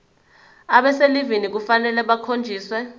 abaselivini kufanele bakhonjiswe